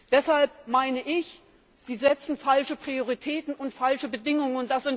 Deshalb meine ich, Sie setzen falsche Prioritäten und falsche Bedingungen.